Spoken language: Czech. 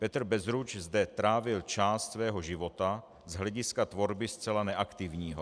Petr Bezruč zde trávil část svého života, z hlediska tvorby zcela neaktivního.